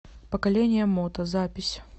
поколение мото запись